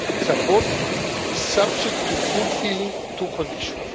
Support is subject to fulfilling two conditions.